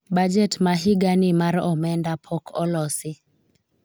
bajet ma higa ni mar omenda pok olosi